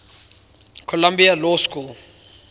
columbia law school